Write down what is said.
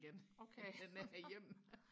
end at den er her hjemme